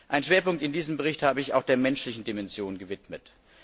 Einen Schwerpunkt in diesem Bericht habe ich auch der menschlichen Dimension gewidmet.